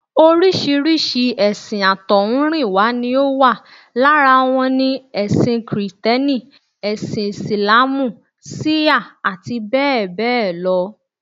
Oríṣiríṣi èsìn àtọ̀húnrìnwá ni ó wà. Lára wọn ni: ẹṣin kìrìtẹ́nì, ẹṣin Ìsìláàmù, ṣíà àti bẹ́ẹ̀ bẹ́ẹ̀ lọ